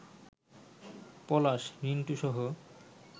পলাশ, রিন্টুসহ